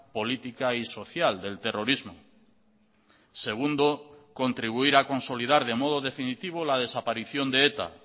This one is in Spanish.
política y social del terrorismo segundo contribuir a consolidar de modo definitivo la desaparición de eta